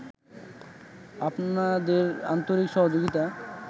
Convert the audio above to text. আপনাদের আন্তরিক সহযোগিতা